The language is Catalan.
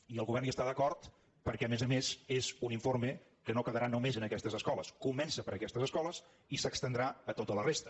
i el govern hi està d’acord perquè a més a més és un informe que no quedarà només en aquestes escoles comença per aquestes escoles i s’estendrà a tota la resta